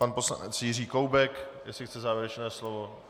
Pan poslanec Jiří Koubek, jestli chce závěrečné slovo.